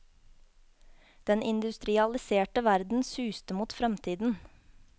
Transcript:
Den industrialiserte verden suste mot fremtiden.